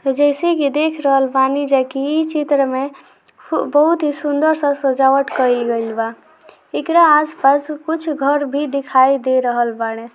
जेसे की देख रहे हो पानी जी की इस क्षेत्र में में बहुत ही सुन्दर सा सजावट कइल गइल बा एकरा आसपास कुछ गहरे भी दिखाई दे रहल बाड़े।